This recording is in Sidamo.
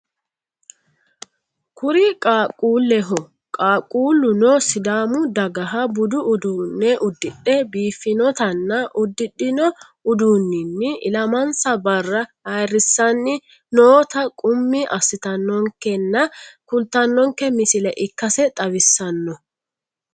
Kuri qaaqquulleho qaaqquulluno sidaamu dagaha budu uduunne uddidhe biiffinotanna uddidhino uduunninni ilamansa barra ayiirrissanni noota qummi assitannonkenna kultannonke misile ikkase xawissanno.